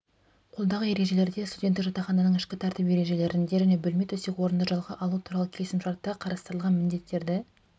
қолдағы ережелерде студенттік жатақхананың ішкі тәртіп ережелерінде және бөлме төсек орынды жалға алу туралы келісімшартта қарастырылған міндеттерді